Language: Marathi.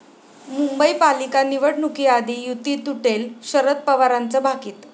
मुंबई पालिका निवडणुकीआधी युती तुटेल, शरद पवारांचं भाकीत